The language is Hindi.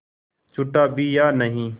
छूटा भी या नहीं